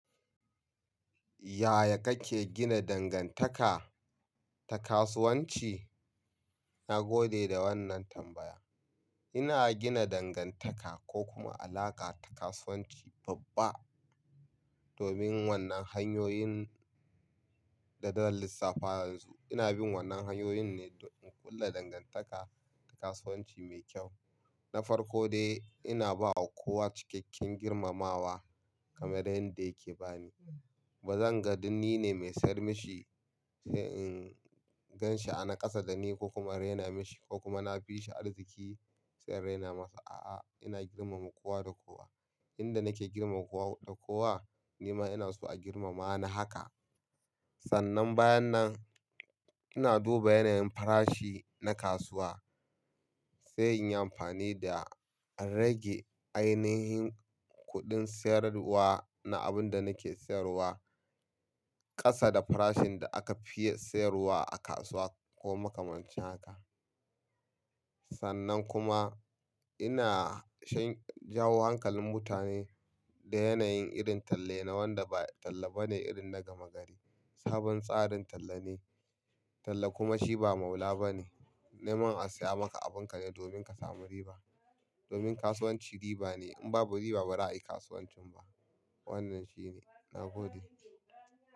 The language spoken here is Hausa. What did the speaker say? Yaya kake gina dangantaka ta kasuwanci? Na gode da wannan tambaya. Ina gina dangantaka ko kuma alaƙa ta kasuwanci babba domin wannan hanyoyin da zan lissafa yanzu. Ina bin wannan hanyoyin ne don in kulla dangantaka da kasuwanci mai kyau. Na farko dai ina bawa kowa cikakken girmamawa kamar yadda yake bani. Ba zan ga dun ni ne mai sayar mishi sai in gan shi ana kasa da ni ko kuma rena mishi ko kuma na fi shi arziki sai in rena masa. A'a, ina girmama kowa da kowa. Inda nake girmama kowa da kowa ni ma ina so a girmama ni haka. Sannan bayan nan ina duba yanayin farashi na kasuwa sai in yi amfani da a rage ainihin kuɗin sayarwa na abin da nake sayarwa. Kasa da farashin da aka fiye sayarwa a kasuwa ko makamancin haka. Sannan kuma ina shan jawo hankalin mutane da yanayin irin talle na wanda ba talla ba ne irin na gama gari. Sabon tsarin talla ne. Talla kuma shi ba maula ba ne. Ni man a saya maka abin ka ne domin ka samu riba. Domin kasuwanci riba ne in babu riba ba za a yi kasuwanci ba. Wannan shi ne. Na gode.